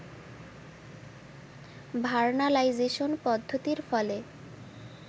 vernalisation পদ্ধতির ফলে